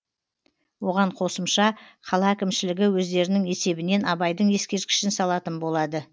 оған қосымша қала әкімшілігі өздерінің есебінен абайдың ескерткішін салатын болады